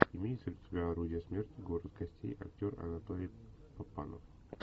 имеется ли у тебя орудие смерти город костей актер анатолий папанов